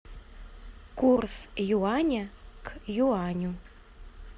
курс юаня к юаню